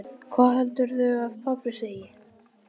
hvað heldurðu að pabbi segi.